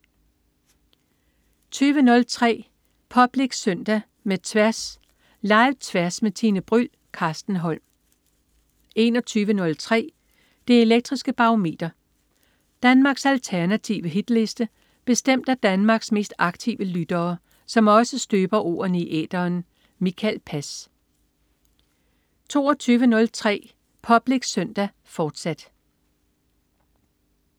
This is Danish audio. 20.03 Public Søndag med Tværs. Live-Tværs med Tine Bryld. Carsten Holm 21.03 Det elektriske Barometer. Danmarks alternative hitliste bestemt af Danmarks mest aktive lyttere, som også støber ordene i æteren. Mikael Pass 22.03 Public Søndag, fortsat